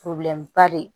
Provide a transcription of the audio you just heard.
ba de